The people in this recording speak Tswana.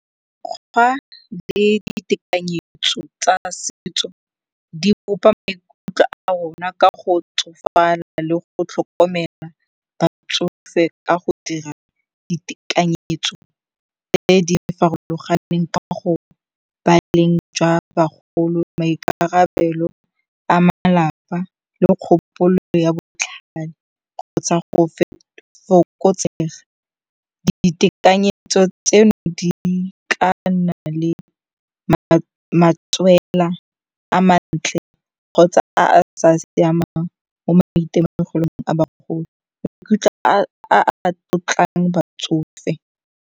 Mekgwa le ditekanyetso tsa setso di bopa maikutlo a rona ka go le go tlhokomela batsofe ka go dira ditekanyetso tse di farologaneng ka go ba leng jwa bagolo maikarabelo a malapa le kgopolo ya botlhale kgotsa go fokotsega. Ditekanyetso tseno di ka nna le matswela a mantle kgotsa a a sa siamang mo maitemogelong a bagolo a a tlotlang batsofe.